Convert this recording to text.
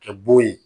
Kɛ bo ye